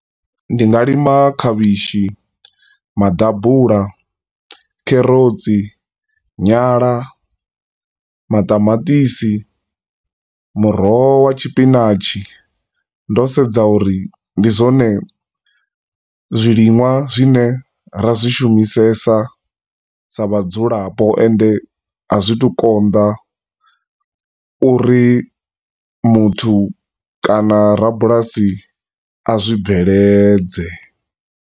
Ndi nga lima khavhishi, maḓabula, kherotsi, nyala, maṱamaṱisi, muroho wa tshipinashi, ndo sedza uri ndi zwone zwilima zwine ra zwi shumisesa sa vhadzulapo, ende a zwi tu konḓa uri muthu, kana rabulasi a zwi bveledze.